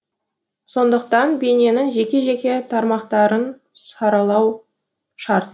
сондықтан бейненін жеке жеке тармақтарын саралау шарт